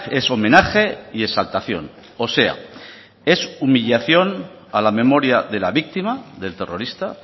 es homenaje y exaltación o sea es humillación a la memoria de la víctima del terrorista